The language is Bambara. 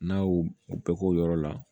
N'a y'u bɛɛ k'o yɔrɔ la